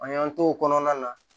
An y'an to o kɔnɔna na